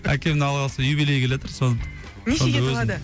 әкемнің алла қаласа юбилейі келатыр соның нешеге толады